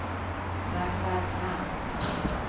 Ragnvald Lantz